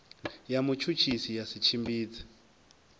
ya mutshutshisi ya si tshimbidze